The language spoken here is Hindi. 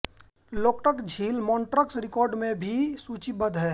लोकटक झील मॉण्ट्रक्स रिकॉर्ड में भी सूचीबद्ध है